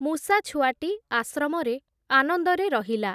ମୂଷାଛୁଆଟି ଆଶ୍ରମରେ ଆନନ୍ଦରେ ରହିଲା ।